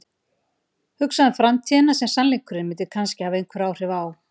Hugsa um framtíðina sem sannleikurinn myndi kannski hafa einhver áhrif á.